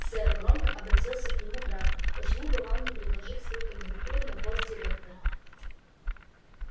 сэр громко обратился к нему драко почему бы вам не предложить свою кандидатуру на пост директора